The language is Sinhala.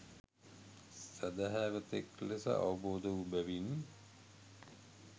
සැදැහැවතෙක් ලෙස අවබෝධ වූ බැවින්